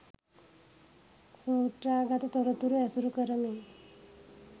සූත්‍රාගත තොරතුරු ඇසුරු කරමින්